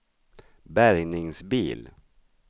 bärgningsbil